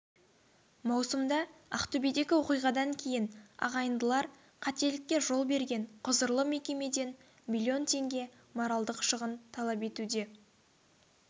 маусымда ақтөбедегі оқиғадан кейін ағайындылар қателікке жол берген құзырлы мекемеден млн теңге моральдық шығын талап етуде